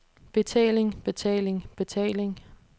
betaling betaling betaling